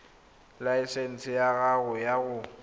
laesense ya gago ya go